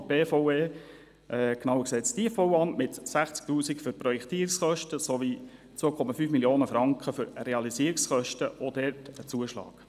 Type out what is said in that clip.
Die BVE, genauer gesagt das Tiefbauamt, weist 60 000 Franken für Projektierungskosten sowie 2,5 Mio. Franken für Realisierungskosten aus, auch hier mit einem Zuschlag.